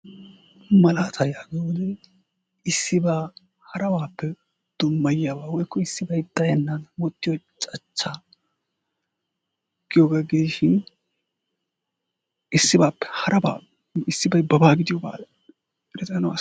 Malaatay hagaa ha wodiyan issiba harabappe dummayiyaba woykko issibay xaayenwottiyo cachcha giyoga gidishin issibappe haraba issibay baba gidiyoga ...